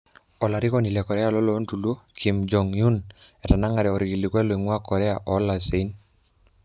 Olarikoni le Korea lolontoluo Kim Jong-Un etanangare orkilikuai loingua Korea olosaen.